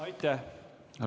Aitäh!